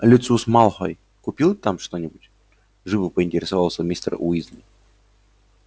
люциус малфой купил там что-нибудь живо поинтересовался мистер уизли